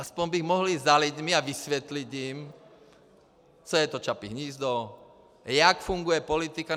Aspoň bych mohl jít za lidmi a vysvětlit jim, co je to Čapí hnízdo, jak funguje politika.